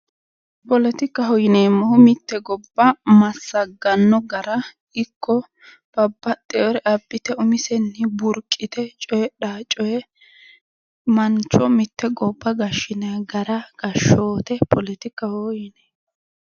Poletikaho yineemohu mite gobba masagano gara Iko babaxewore abite umisen burqite coyidhano coye mancho mite goba gashinayi gara gashoote poletikaho yinayi